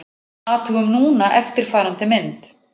Athugum núna eftirfarandi mynd: